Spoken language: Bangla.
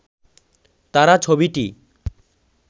তারা ছবিটি